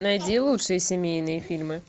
найди лучшие семейные фильмы